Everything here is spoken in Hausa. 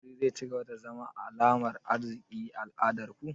Wuri zai cigaba da zama alamar arziki a al'adar ku?